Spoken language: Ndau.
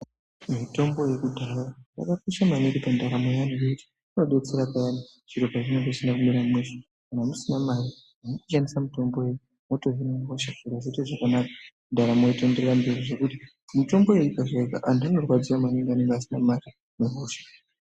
Mitombo yekudhaya yakakosha maningi pandaramo yeantu ngekuti inobetsera payani zviro pazvinenge zvisina kumira mushe. Kana musina mari munoshandisa mutombo iyona motohine hosha zviro zvoite zvakanaka, ndaramo yotoenderera mberi, zvekuti mitombo iyoni ikashaika antu anorwadziwa maningi anenge asina mari nehosha.